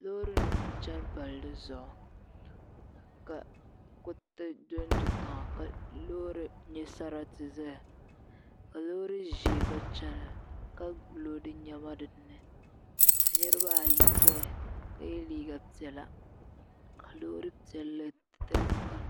Loori nim n chɛni palli zuɣu ka kuriti dondo tiŋa ka loori nyɛ sarati ʒɛya ka loori ʒiɛ gba chɛna ka loodi niɛma dinni ka niraba ayi ʒɛya ka yɛ liiga piɛla ka loori piɛlli tiligi kanna